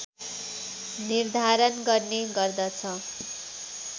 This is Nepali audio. निर्धारण गर्ने गर्दछ